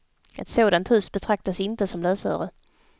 Ett sådant hus betraktas inte som lösöre.